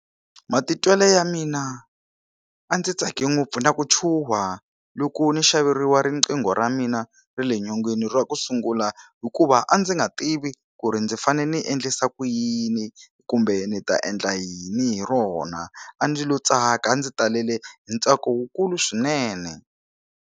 Matitwelo ya mina a ndzi tsake ngopfu na ku chuha loko ni xaveriwa riqingho ra mina ra le nyongeni ra ku sungula hikuva a ndzi nga tivi ku ri ndzi fane ni endlisa ku yini kumbe ni ta endla yini hi rona a ndzi lo tsaka ndzi talele hi ntsako wukulu swinene.